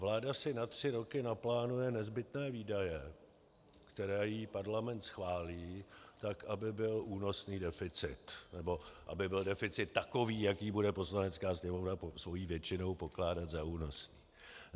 Vláda si na tři roky naplánuje nezbytné výdaje, které jí Parlament schválí tak, aby byl únosný deficit, nebo aby byl deficit takový, jaký bude Poslanecká sněmovna svou většinou pokládat za únosný.